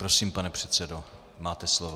Prosím, pane předsedo, máte slovo.